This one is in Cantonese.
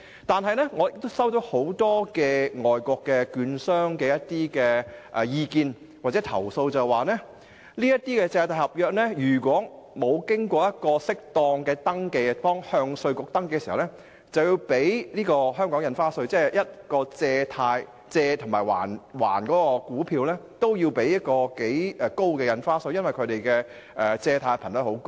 然而，我接獲很多外國證券商的意見或投訴，指如果這些借貸合約未有適當的登記而要向香港稅務局登記時，便要繳付香港的印花稅，即是說無論股票的借與還也要繳付頗高的印花稅，而且這些股票的借貸頻率很高。